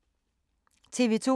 TV 2